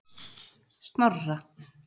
Snorra